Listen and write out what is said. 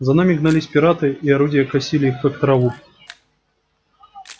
за нами гнались пираты и орудия косили их как траву